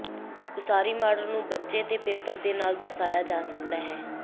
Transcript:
ਉਸਾਰੀ ਮਾਡਲ ਨੂੰ ਪੇਪਰ ਤੇ ਬੱਚੇ ਦੇ ਨਾਲ ਦਰਸਾਇਆ ਜਾ ਸਕਦਾ ਹੈ